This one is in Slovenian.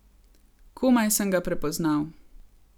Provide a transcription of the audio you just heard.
Komaj sem ga prepoznal.